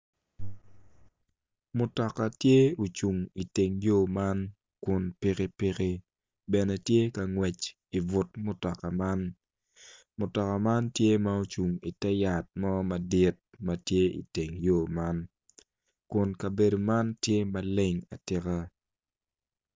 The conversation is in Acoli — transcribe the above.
Mutoka tye o cung i teng yo man kun piki piki bene tye ka ngwec i but mutoka man mutoka man tye ma ocung i ter yat mo madit matye i teng yo man kun kabedo man tye maleng atika.